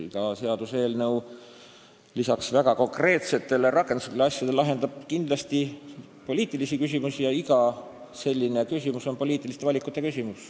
Iga seaduseelnõu lahendab lisaks konkreetsetele rakenduslikele asjadele kindlasti poliitilisi küsimusi ja iga selline küsimus nõuab poliitilist valikut.